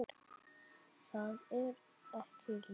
Það er ég líka